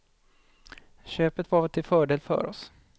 Köpet var till fördel för oss.